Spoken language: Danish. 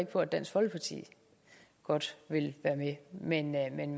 på at dansk folkeparti godt vil være med men man